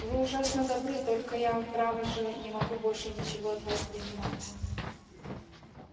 вы ужасно добры только я право же не могу больше ничего от вас принимать